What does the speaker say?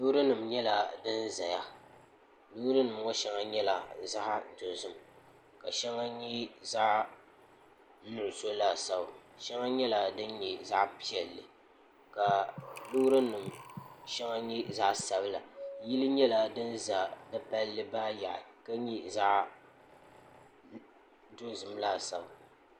loori nim nyɛla din ʒɛya loori nim ŋo shɛŋa nyɛla zaɣ dozim ka shɛŋa nyɛ zaɣ nuɣso laasabu shɛli nyɛla din nyɛ zaɣ piɛlli ka loori nim shɛli nyɛ zaɣ sabila yili nyɛla din ʒɛ di palli maa yaɣali ka nyɛ zaɣ dozim laasabu